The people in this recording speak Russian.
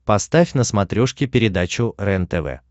поставь на смотрешке передачу рентв